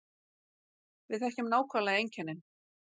Við þekkjum nákvæmlega einkennin